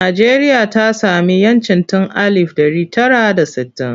Najeriya ta sami 'yancin tun alif ɗari tara da sittin.